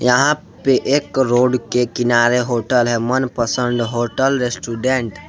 यहां पे एक रोड के किनारे होटल है मनपसंद होटल रेस्टोरेंट ।